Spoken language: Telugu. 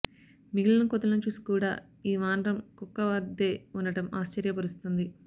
మిగిలిన కోతులను చూసి కూడా ఈ వానరం కుక్క వద్దే ఉండటం ఆశ్చర్యపరుస్తోంది